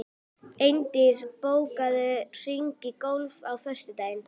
Eindís, bókaðu hring í golf á föstudaginn.